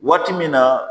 Waati min na